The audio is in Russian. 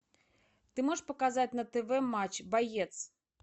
ты можешь показать на тв матч боец